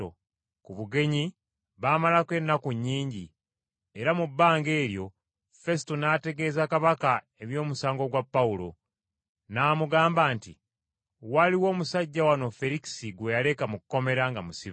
Ku bugenyi baamalako ennaku nnyingi, era mu bbanga eryo Fesuto n’ategeeza kabaka eby’omusango gwa Pawulo. N’amugamba nti, “Waliwo omusajja wano Ferikisi gwe yaleka mu kkomera nga musibe.